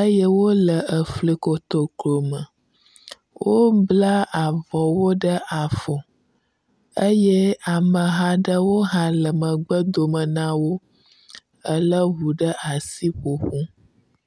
eye wo le efli kotoklo me. wobla abɔwo ɖe afɔ eye ameha aɖewo hã le megbe dome na wo ele ŋu ɖe asi ƒoƒom.